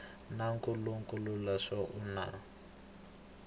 na nkhulukelano naswona ku na